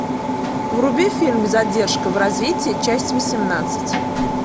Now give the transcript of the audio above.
вруби фильм задержка в развитии часть восемнадцать